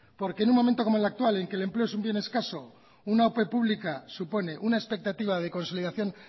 porque en un momento como el actual el que el empleo es un bien escaso una ope pública supone una expectativa de consolidación